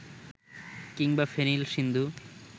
কিংবা ফেনিল সিন্ধু